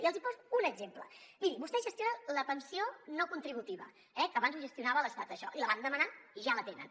i els n’hi poso un exemple miri vostès gestionen la pensió no contributiva eh que abans ho gestionava l’estat això i la van demanar i ja la tenen